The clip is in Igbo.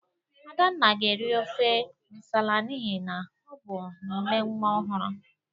Adanna ga-eri ofe nsala n'ihi na ọ bụ nne nwa ọhụrụ.